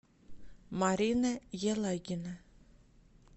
марина елагина